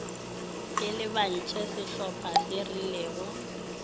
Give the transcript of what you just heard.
e lebantšhe sehlopa se rileng